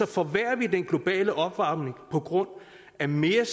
forværrer vi den globale opvarmning på grund af mere